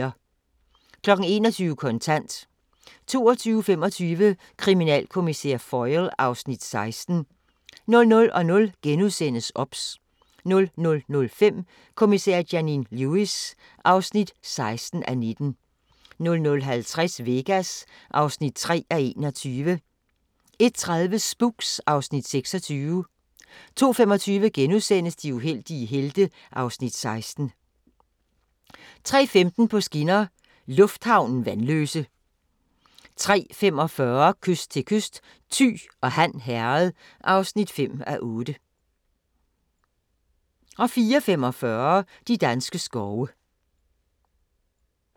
21:00: Kontant 22:25: Kriminalkommissær Foyle (Afs. 16) 00:00: OBS * 00:05: Kommissær Janine Lewis (16:19) 00:50: Vegas (3:21) 01:30: Spooks (Afs. 26) 02:25: De uheldige helte (Afs. 16)* 03:15: På skinner: Lufthavnen – Vanløse 03:45: Kyst til kyst: Thy og Han Herred (5:8) 04:45: De danske skove